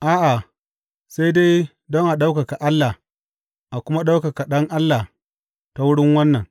A’a, sai dai don a ɗaukaka Allah a kuma ɗaukaka Ɗan Allah ta wurin wannan.